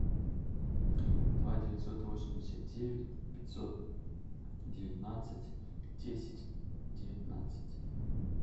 два девятьсот восемьдесят девять пятьсот девятнадцать десять девятнадцать